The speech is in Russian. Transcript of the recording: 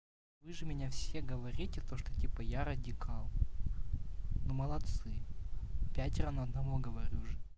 вы же меня все говорите то что типа я радикал ну молодцы пятеро на одного говорю же